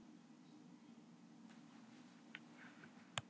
Úrkoman snýr aftur til upphafsins.